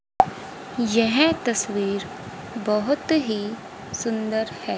यह तस्वीर बहोत ही सुंदर है।